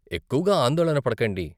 ఎక్కువగా ఆందోళన పడకండి.